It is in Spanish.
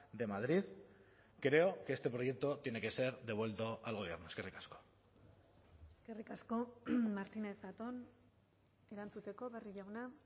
de madrid creo que este proyecto tiene que ser devuelto al gobierno eskerrik asko eskerrik asko martínez zatón erantzuteko barrio jauna